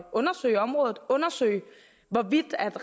undersøge området og undersøge hvorvidt